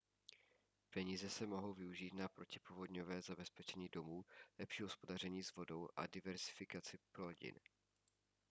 peníze se mohou využít na protipovodňové zabezpečení domů lepší hospodaření s vodou a diverzifikaci plodin